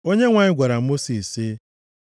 Onyenwe anyị gwara Mosis sị,